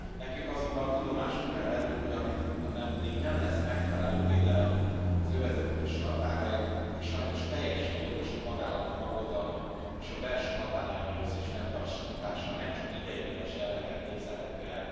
Nekünk azonban tudomásul kell vennünk, hogy ameddig nem lesz megfelelő védelem az övezet külső határain, addig sajnos teljesen jogos a tagállamok aggodalma és a belső határellenőrzés fenntartása nem csak ideiglenes jelleggel képzelhető el.